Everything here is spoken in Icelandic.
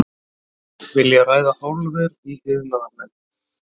Vilja ræða álver í iðnaðarnefnd